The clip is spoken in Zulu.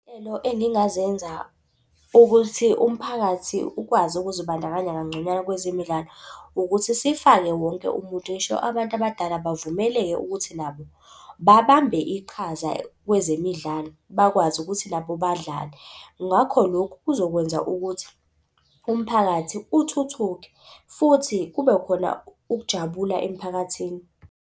Engingazenza ukuthi umphakathi ukwazi ukuzibandakanya kangconywana kwezemidlalo ukuthi sifake wonke umuntu. Ngisho abantu abadala bavumeleke ukuthi nabo babambe iqhaza kwezemidlalo, bakwazi ukuthi nabo badlale. Ngakho lokhu kuzokwenza ukuthi umphakathi uthuthuke futhi kube khona ukujabula emphakathini.